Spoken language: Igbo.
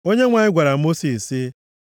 Onyenwe anyị gwara Mosis sị,